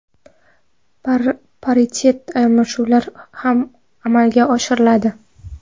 Paritet almashinuvlar ham amalga oshiriladi.